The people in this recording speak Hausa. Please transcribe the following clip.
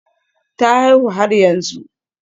Ta haihu har yanzu